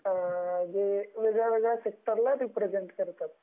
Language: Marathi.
ते वेगळ्या वेगळ्या सेक्टर ला रिप्रेजेंट करतात